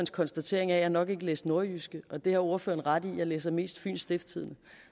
konstatering af at jeg nok ikke læste nordjyske det har ordføreren ret i jeg læser mest fyens stiftstidende